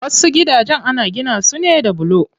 Wasu gidajen ana gina su ne da bulo.